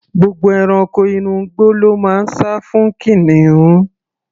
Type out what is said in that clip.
Gbogbo ẹranko inú igbó ló máa ń sá fún kìnìún.